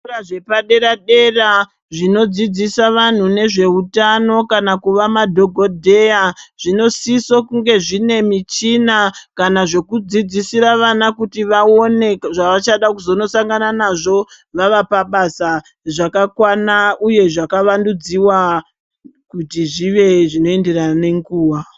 Zvikora zvepadera-dera zvinodzidzisa vanhu nezveutano kana kuva madhokodheya zvinosiso kunge zvine michina, kana zvekudzidzisira vana kuti vaone zvavachada kuzonosangana nazvo vava pabasa zvakakwana uye zvakavandudziwa kuti zvive zvinoenderana nenguwa.